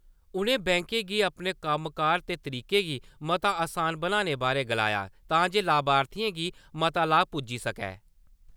उनें बैंकें गी अपने कम्मकार ते तरीके गी मता असान बनाने बारै गलाया तांजे लाभार्थियें गी मता लाह पुज्जी सके ।